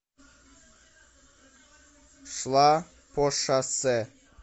шла по шоссе